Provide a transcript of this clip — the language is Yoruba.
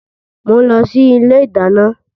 Mo ń lọ sí ilé ìdáná.